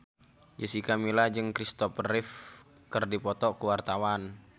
Jessica Milla jeung Kristopher Reeve keur dipoto ku wartawan